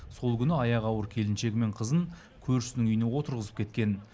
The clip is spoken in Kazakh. сол күні аяғы ауыр келіншегі мен қызын көршісінің үйіне отырғызып кеткен